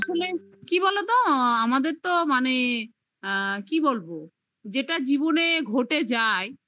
আসলে কি বলতো? আমাদের তো মানে আ কি বলবো? যেটা জীবনে ঘটে যায়